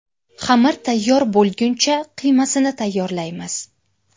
Xamir tayyor bo‘lguncha qiymasini tayyorlaymiz.